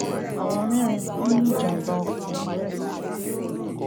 àwọn mẹrin kú nínú ìjàmbá ọkọ lọrẹ